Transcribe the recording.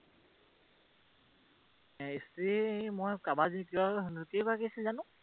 স্ত্ৰী মই কেইগৰাকী আছিল জানো!